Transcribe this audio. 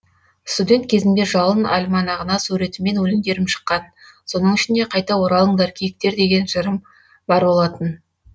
студент кезімде жалын альманағына суретіммен өлеңдерім шыққан соның ішінде қайта оралыңдар киіктер деген жырым бар болатын